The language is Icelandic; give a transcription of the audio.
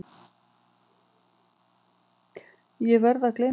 Ég verð að gleyma þessu.